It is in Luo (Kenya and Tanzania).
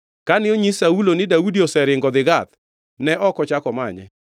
Kane onyis Saulo ni Daudi oseringo odhi Gath, ne ok ochako omanye.